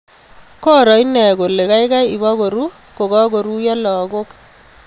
Koroo inee koleee kaikai ipkoruu kokakoruiyoo lagook